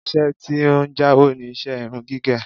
Ìṣe tí ó ń jàwó ni iṣẹ́ irun gígẹ̀